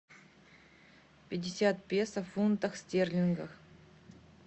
пятьдесят песо в фунтах стерлингах